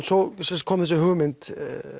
svo kom þessi hugmynd